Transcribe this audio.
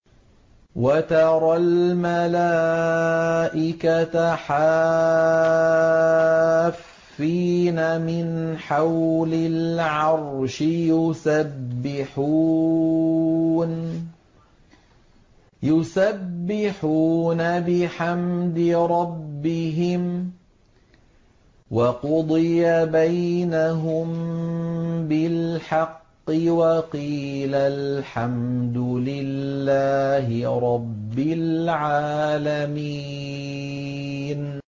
وَتَرَى الْمَلَائِكَةَ حَافِّينَ مِنْ حَوْلِ الْعَرْشِ يُسَبِّحُونَ بِحَمْدِ رَبِّهِمْ ۖ وَقُضِيَ بَيْنَهُم بِالْحَقِّ وَقِيلَ الْحَمْدُ لِلَّهِ رَبِّ الْعَالَمِينَ